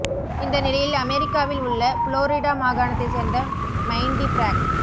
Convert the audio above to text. இந்த நிலையில் அமெரிக்காவில் உள்ள புளோரிடா மாகாணத்தை சேர்ந்த மைன்டி பிராக்